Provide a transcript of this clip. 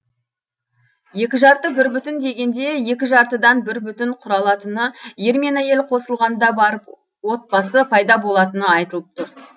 екі жарты бір бүтін дегенде екі жартыдан бір бүтін құралатыны ер мен әйел қосылғанда барып отбасы пайда болатыны айтылып тұр